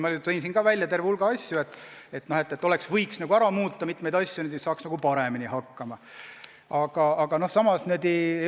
Ma tõin siin välja terve hulga asju, mida võiks muuta, et paremini hakkama saada.